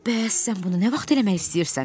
Bəs sən bunu nə vaxt eləmək istəyirsən?